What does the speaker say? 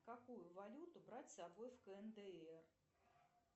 какую валюту брать с собой в кндр